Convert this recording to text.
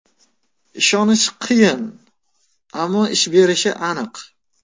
Ishonish qiyin, ammo ish berishi aniq.